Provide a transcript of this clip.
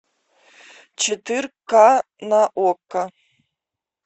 четыре ка на окко